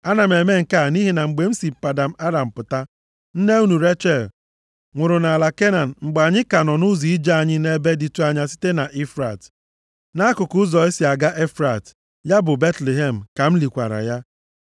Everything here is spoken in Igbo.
Ana m eme nke a nʼihi na mgbe m si Padan Aram pụta, nne unu Rechel, nwụrụ nʼala Kenan mgbe anyị ka nọ nʼụzọ ije anyị nʼebe dịtụ anya site na Efrat. Nʼakụkụ ụzọ e si aga Efrat, ya bụ Betlehem, ka m likwara ya.”